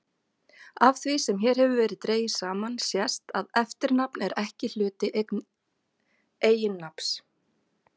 Af því sem hér hefur verið dregið saman sést að eftirnafn er ekki hluti eiginnafns.